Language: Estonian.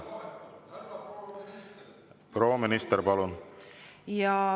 Proua minister, palun!